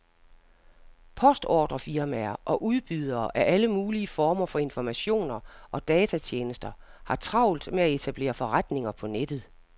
Postordrefirmaer og udbydere af alle mulige former for informationer og datatjenester har travlt med at etablere forretninger på nettet.